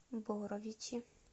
боровичи